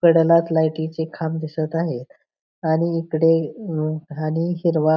कडेलाच लाइटीचे खांब दिसत आहेत आणि इकडे आणि हिरवा--